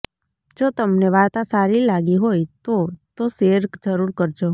જો તમને વાર્તા સારી લાગી હોય તો તો શેયર જરૂર કરજો